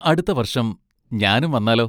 അടുത്ത വർഷം ഞാനും വന്നാലോ?